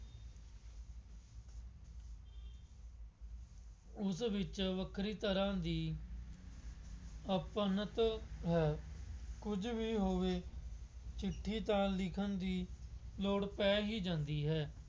ਉਸ ਵਿੱਚ ਵੱਖਰੀ ਤਰ੍ਹਾਂ ਦੀ ਆਪਣੱਤ ਹੈ। ਕੁੱਝ ਵੀ ਹੋਵੇ ਚਿੱਠੀ ਤਾਂ ਲਿਖਣ ਦੀ ਲੋੜ ਪੈ ਹੀ ਜਾਂਦੀ ਹੈ।